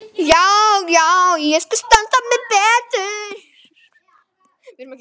Já, já, ég skal standa mig betur.